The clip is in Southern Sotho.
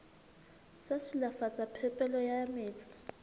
sa silafatsa phepelo ya metsi